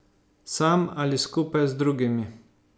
Sam ali skupaj z drugimi.